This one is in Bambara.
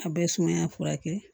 A bɛ sumaya furakɛ